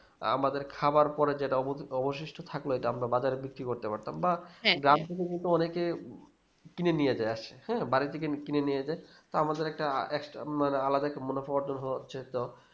আমাদের খাবার পরে যেটা অবঅবশিষ্ট থাকলো ইটা আমরা বাজারে বিক্রি করতে পারতাম বা গ্রাম থেকে যেহেতু অনেকে কিনে নিয়ে যাই আসছে বাড়িতে কিনে নিয়ে যাই তো আমাদের একটা extra মানে আলাদা একটা মুনাফা অর্জন হচ্ছে তো